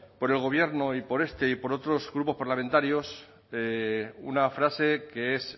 por el gobierno y por este y por otros grupos parlamentarios una frase que es